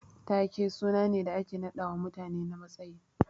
Taake suna ne da ake naɗawa mutane na matsayi.